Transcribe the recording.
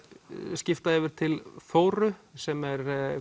skipta yfir til Þóru sem er